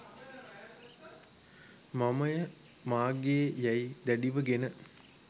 මමය මාගේ යැයි දැඩිව ගෙන